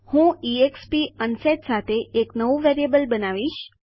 હું એક્સપ અનસેટ સાથે નવું બનાવીશ